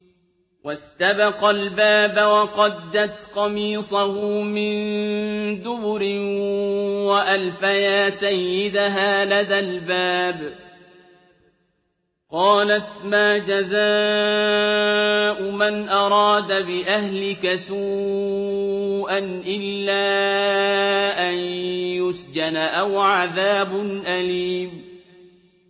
وَاسْتَبَقَا الْبَابَ وَقَدَّتْ قَمِيصَهُ مِن دُبُرٍ وَأَلْفَيَا سَيِّدَهَا لَدَى الْبَابِ ۚ قَالَتْ مَا جَزَاءُ مَنْ أَرَادَ بِأَهْلِكَ سُوءًا إِلَّا أَن يُسْجَنَ أَوْ عَذَابٌ أَلِيمٌ